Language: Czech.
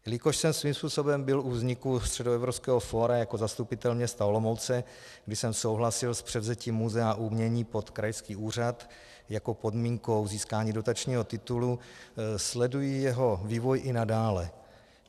Jelikož jsem svým způsobem byl u vzniku Středoevropského fóra jako zastupitel města Olomouce, kdy jsem souhlasil s převzetím muzea umění pod krajský úřad jako podmínkou získání dotačního titulu, sleduji jeho vývoj i nadále.